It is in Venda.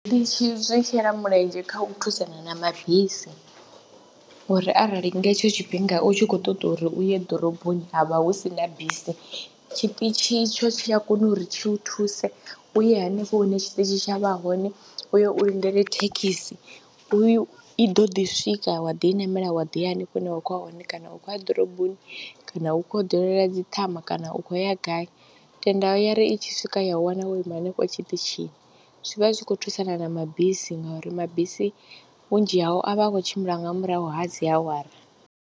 Zwiṱitshi zwi shela mulenzhe kha u thusana na mabisi uri arali nga hetsho tshifhinga u tshi khou ṱoḓa uri u ye ḓoroboni ha vha hu si na bisi tshiṱitshi itsho tshi a kona uri tshi u thuse u ye hanefho hune tshiṱitshi tsha vha hone u yo u lindela thekhisi. U i ḓo ḓi swika wa ḓi i namela, wa ḓo ya hanefho hune wa khou ya hone kana u khou ya ḓoroboni kana u khou ya u dalela dzi ṱhama kana u khou ya gai tenda ya ri i tshi swika ya wana wo ima hanefho tshiṱitshini, zwi vha zwi khou thusana na mabisi ngauri mabisi vhunzhi hao a vha a khou tshimbila nga murahu ha dzi awara.